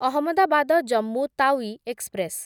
Ahmedabad Jammu Tawi express